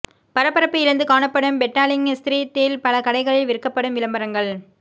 பரபரப்பு இழந்து காணப்படும் பெட்டாலிங் ஸ்தீரிட்டில் பல கடைகளில் விற்கப்படும் விளம்பரங்கள்